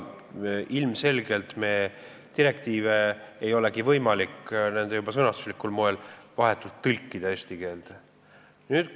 Ilmselgelt ei ole direktiive võimalik juba nende sõnastusliku moe tõttu vahetult eesti keelde tõlkida.